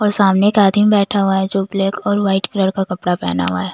और सामने एक आदमी बैठा हुआ है जो ब्लैक और व्हाइट कलर का कपड़ा पहना हुआ है।